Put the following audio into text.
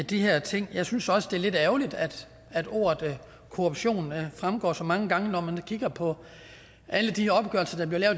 de her ting jeg synes også det er lidt ærgerligt at at ordet korruption fremgår så mange gange når man kigger på alle de opgørelser der er